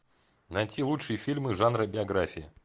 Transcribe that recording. найти лучшие фильмы жанра биографии